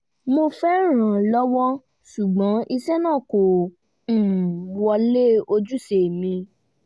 mo fẹ́ rànlọ́wọ́ ṣùgbọ́n iṣẹ́ náà kò um wọlé ojúṣe mi